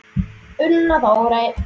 Una Þórey.